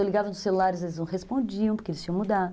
Eu ligava no celular, eles não respondiam, porque eles tinham mudado.